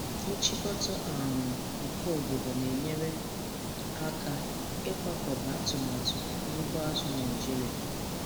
Nchịkọta um nke obodo na-enyere aka ịkwakọba atụmatụ n'ugbo azụ̀ Naịjiria.